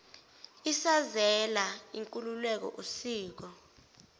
isazela inkolelo usiko